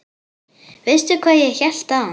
Veistu hvað ég hélt áðan?